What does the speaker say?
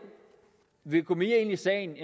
vil gå mere ind i sagen